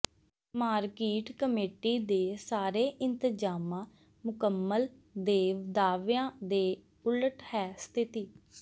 market committee ਦੇ ਸਾਰੇ ਇੰਤਜਾਮਾਂ ਮੁਕੰਮਲ ਦੇ ਦਾਅਵਿਆਂ ਦੇ ਉਲਟ ਹੈ ਸਥਿਤੀ